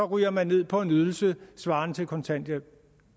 ryger man ned på en ydelse svarende til kontanthjælp